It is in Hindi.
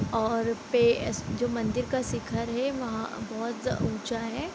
और पे जो मंदिर का शिखर है वहाँ बहुत ऊचा है |